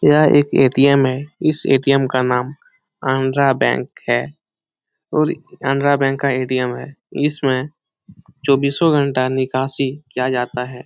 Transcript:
यह एक ए.टी.एम. है इस ए.टी.एम. का नाम कानरा बैंक है और कानरा बैंक का ए.टी.एम. है इसमें चौबीसो घंटा निकासी किया जाता है ।